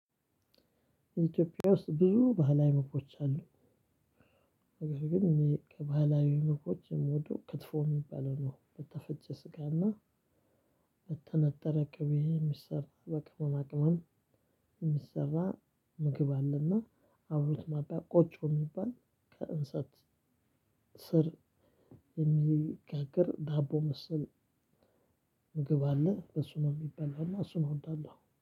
ኢትዮጵያ ውስጥ ብዙ ባህላዊ መኮች አሉ። ግን ከባህላዊ ምግቦች ክትፎ የሚባለው ነው። በተፈጨ ስጋና በተነጠረ ቅቤ የሚሰራ። በቅመማቅመም የሚሰራ ምግብ አለና አብሮት ማብያ ቆጮ የሚባል ከእንሰት ስር የሚጋግር ዳቦ መሰል ምግብ አለ በሱ ነው የሚበላው እና እሱን እወዳለሁ።